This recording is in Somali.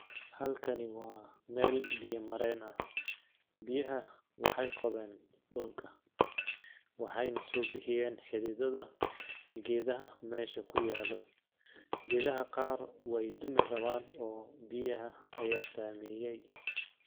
Halkani waa meel biya mareen ah ,biyaha waxeey qodeen dhulka ,waxeyna soo bixiyeen xididada geedaha meesha ku yaalo ,geedaha qaar weey dumi rawaan oo biyaha ayaa saameyay .